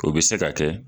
O bɛ se ka kɛ